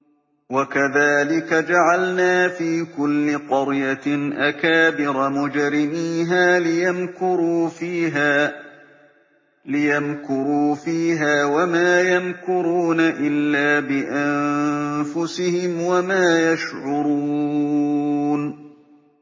وَكَذَٰلِكَ جَعَلْنَا فِي كُلِّ قَرْيَةٍ أَكَابِرَ مُجْرِمِيهَا لِيَمْكُرُوا فِيهَا ۖ وَمَا يَمْكُرُونَ إِلَّا بِأَنفُسِهِمْ وَمَا يَشْعُرُونَ